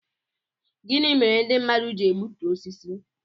Gịnị mere ndị mmadụ ji egbutu osisi